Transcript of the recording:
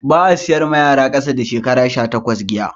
Ba'a siyar da giya mawa yara kasa da shekara 18